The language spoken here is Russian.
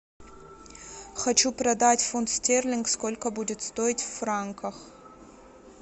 хочу продать фунт стерлинг сколько будет стоить в франках